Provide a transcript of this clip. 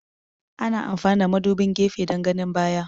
Ana amfani da madubin gefe dan ganin baya